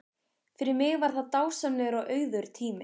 Fyrir mig var það dásamlegur og auðugur tími.